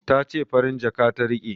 Ta ce farin jaka ta riƙe